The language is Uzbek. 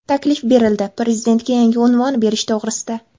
Taklif berildi – prezidentga yangi unvon berish to‘g‘risida.